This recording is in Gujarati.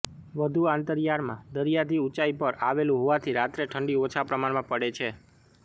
વધુ આંતરિયાળમાં દરિયાથી ઊંચાઇ પર આવેલું હોવાથી રાત્રે ઠંડી ઓછા પ્રમાણ પડે છે